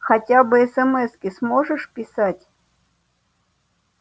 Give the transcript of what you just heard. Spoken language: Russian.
хотя бы эсэмэски сможешь писать